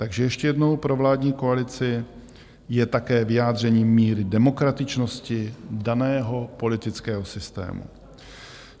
Takže ještě jednou pro vládní koalici: je také vyjádřením míry demokratičnosti daného politického systému.